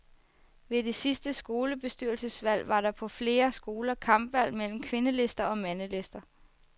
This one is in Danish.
Ved det sidste skolebestyrelsesvalg var der på flere skoler kampvalg mellem kvindelister og mandelister.